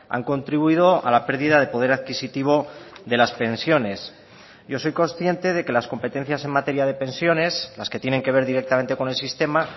han contribuido a la pérdida de poder adquisitivo de las pensiones yo soy consciente de que las competencias en materia de pensiones las que tienen que ver directamente con el sistema